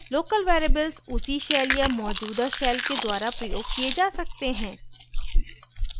* local variables उसी shell या मौजूदा shell के द्वारा प्रयोग किये जा सकते हैं